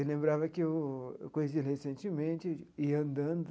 Eu lembrava que eu eu conheci ele recentemente, ia andando,